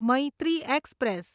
Maitri express